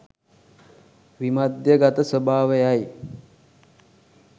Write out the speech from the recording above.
විමධ්‍යගත ස්වභාවයයි.